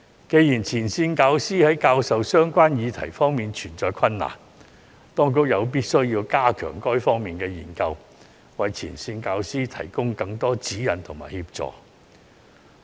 既然前線教師在教授相關議題方面存在困難，當局有必要加強這些方面的研究，為前線教師提供更多指引和協助。